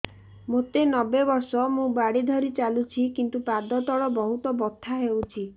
ମୋତେ ନବେ ବର୍ଷ ମୁ ବାଡ଼ି ଧରି ଚାଲୁଚି କିନ୍ତୁ ପାଦ ତଳ ବହୁତ ବଥା ହଉଛି